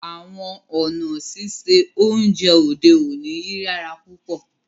Àwọn ọ̀na sísẹ ọ̀unjẹ òdè ọ̀ní yíyàrá púpọ̀